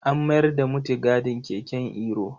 An mayar da mutigadin keken Iro.